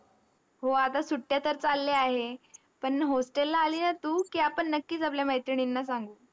हो. आता सुट्ट्या तर चालल्या आहे. पण hostel ला आली ना तू की, आपण नक्कीच आपल्या मैत्रिणींना सांगू.